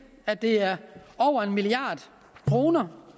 at det er over en milliard kroner